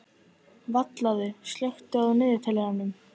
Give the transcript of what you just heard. Vallaður, slökktu á niðurteljaranum.